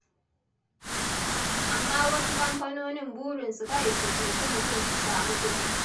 Amma wasu kamfanonin burinsu kawai su cuci mutum su samu kuɗi.